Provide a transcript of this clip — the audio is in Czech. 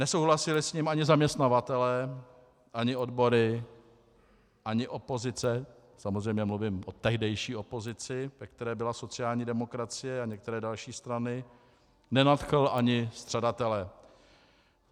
Nesouhlasili s ním ani zaměstnavatelé, ani odbory, ani opozice, samozřejmě mluvím o tehdejší opozici, ve které byla sociální demokracie a některé další strany, nenadchl ani střadatele.